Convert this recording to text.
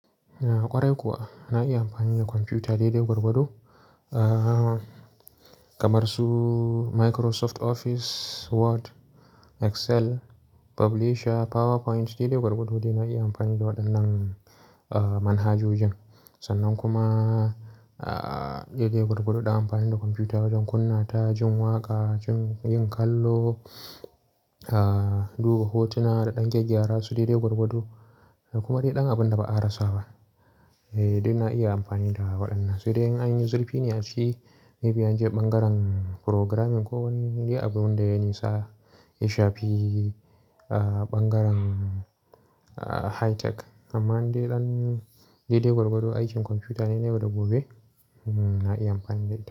A ƙwarai kuwa na iya amfani da kwamfuta daidai gwargwado. Kamar su Microsoft Office, Word, Excel, Publisher, PowerPoint daidai gwargwado dai iya amfani da waɗannan manhajoji. Sannan kuma daidai gwargwado na amfani da kwamfuta wajen kunna ta jin waƙa, jin yin kallo, duba hotuna da ɗan gya gyara su daidai gwargwado kuma dai ɗan abin da ba a rasa ba. Eh, duk na iya amfani da waɗannan. Sai dai an yi zurfi ne a ciki maybe an je ɓangaren programming ko wani dai abin da ya nisa, ya shafi ɓangaren high tech. Amman dai ɗan daidai gwargwado aikin kwamfuta ne, na yau da gobe na iya amfani da ita.